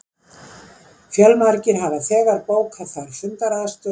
Fjölmargir hafa þegar bókað þar fundaraðstöðu